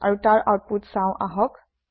আৰু তাৰ আওতপুত চাওঁ আহক